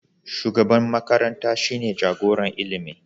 Shugaban makaranta shine jagoran ilimi.